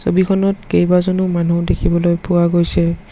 ছবিখনত কেইবাজনো মানুহ দেখিবলৈ পোৱা গৈছে।